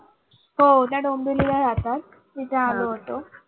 हो त्या डोंबिवलीला राहतात तिथे आलो होतो.